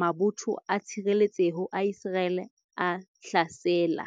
mabotho a tshireletseho a Iseraele a hlasela